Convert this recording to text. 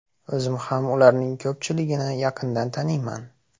O‘zim ham ularning ko‘pchiligini yaqindan taniyman.